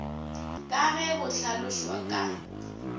ka ge go hlalošwa ka